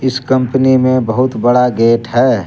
इस कंपनी में बहुत बड़ा गेट है।